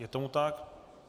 Je tomu tak.